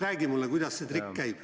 Räägi mulle, kuidas see trikk käib.